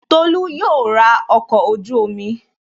Tolú yóò ra ọkọ̀ ojú-omi